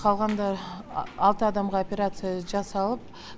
қалғанда алты адамға операция жасалып